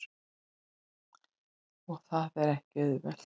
Og það er ekki auðvelt.